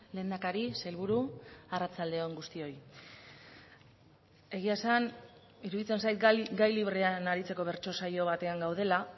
lehendakari sailburu arratsalde on guztioi egia esan iruditzen zait gai librean aritzeko bertso saio batean gaudela